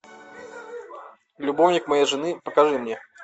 любовник моей жены покажи мне